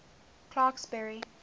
clarksburry